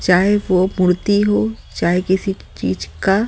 चाहे वो मूर्ति हो चाहे किसी चीज का --